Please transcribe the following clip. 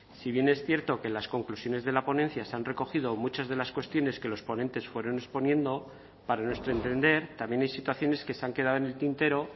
si bien es cierto que las conclusiones de la ponencia se han recogido muchas de las cuestiones que los ponentes fueron exponiendo para nuestro entender también hay situaciones que se han quedado en el tintero